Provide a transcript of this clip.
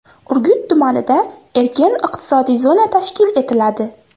Urgut tumanida erkin iqtisodiy zona tashkil etiladi.